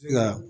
Nka